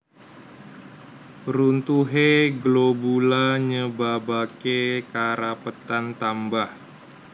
Runtuhé globula nyebabaké karapetan tambah